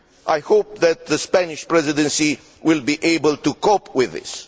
I hope that the Spanish Presidency will be able to cope with this.